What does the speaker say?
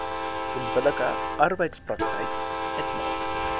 onbillike arbeidspraktyk uitmaak